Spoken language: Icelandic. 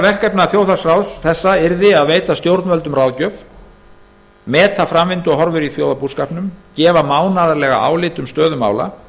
verkefna þjóðhagsráðs þessa yrði að veita stjórnvöldum ráðgjöf meta framvinduhorfur í þjóðarbúskapnum gefa mánaðarlega álit um stöðu mála